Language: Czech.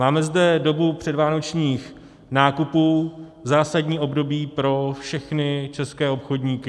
Máme zde dobu předvánočních nákupů, zásadní období pro všechny české obchodníky.